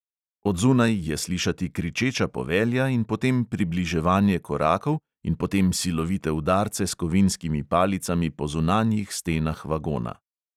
Od zunaj je slišati kričeča povelja in potem približevanje korakov in potem silovite udarce s kovinskimi palicami po zunanjih stenah vagona.